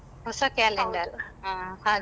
ಹೊಸ calendar.